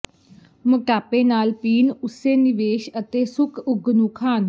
ਮੋਟਾਪੇ ਨਾਲ ਪੀਣ ਉਸੇ ਨਿਵੇਸ਼ ਅਤੇ ਸੁੱਕ ਉਗ ਨੂੰ ਖਾਣ